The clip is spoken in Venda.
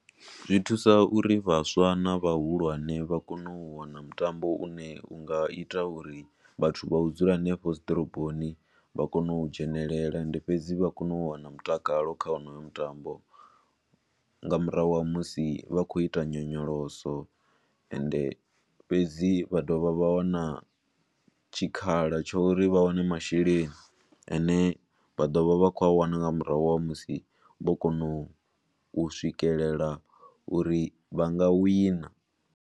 Zwi thusa uri vhaswa na vhahulwane vha kone u wana mutambo u ne u nga ita uri vhathu vha u dzula hanefho dzi ḓoroboni vha kone u dzhenelela. Ende fhedzi vha kone u wana mutakalo kha wonoyo mutambo nga murahu ha musi vha khou ita nyonyoloso. Ende fhedzi vha dovha vha wana tshikhala tsho ri vha wane masheleni a ne vha ḓo vha vha khou a wana nga murahu ha musi vho konou swikelela uri vha nga wina.